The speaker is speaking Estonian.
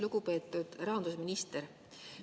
Lugupeetud rahandusminister!